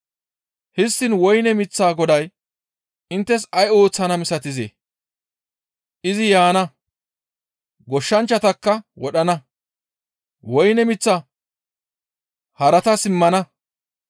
«Histtiin woyne miththaa goday ay ooththana inttes misatizee? Izi yaana; goshshanchchatakka wodhana; woyne miththaa haratas immana.